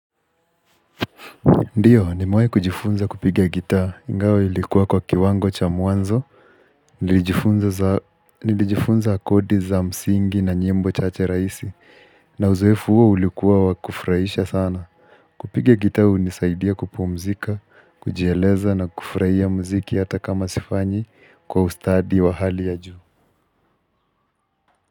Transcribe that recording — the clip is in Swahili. Ndiyo nimewahi kujifunza kupiga gitaa ingawa ilikuwa kwa kiwango cha mwanzo Nilijifunza akodi za msingi na nyimbo chache raisi na uzoefu huo ulikua wakufurahisha sana kupiga gitaa hunisaidia kupumzika, kujieleza na kufurahia mziki hata kama sifanyi kwa ustadi wa hali ya juu.